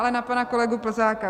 Ale na pana kolegu Plzáka.